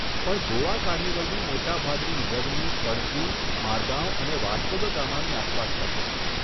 પણ ગોવા કાર્નિવલની મોટા ભાગની ઉજવણી પણજી, મારગાવ અને વાસ્કો દ ગામાની આસપાસ થશે.